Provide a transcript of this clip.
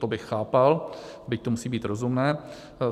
To bych chápal, byť to musí být rozumné.